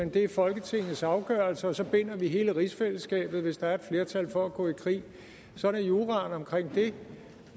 det er folketingets afgørelse og så binder vi hele rigsfællesskabet hvis der er et flertal for at gå i krig sådan er juraen om det